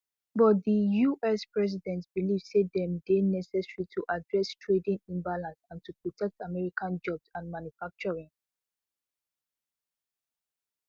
but di us president believe say dem dey necessary to address trading imbalances and to protect american jobs and manufacturing